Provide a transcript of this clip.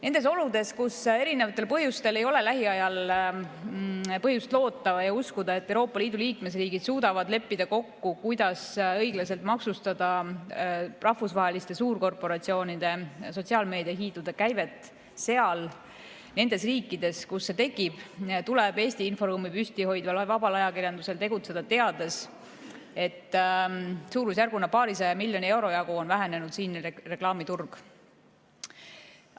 Nendes oludes, kus erinevatel põhjustel ei ole lähiajal põhjust loota ja uskuda, et Euroopa Liidu liikmesriigid suudaksid kokku leppida, kuidas õiglaselt maksustada rahvusvaheliste suurkorporatsioonide, sotsiaalmeediahiidude käivet nendes riikides, kus see tekib, tuleb Eesti inforuumi püsti hoidval vabal ajakirjandusel tegutseda teades, et suurusjärguna paarisaja miljoni euro jagu on nende reklaamiturg siin vähenenud.